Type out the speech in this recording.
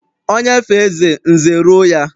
Onye fee eze, nze eruo ya.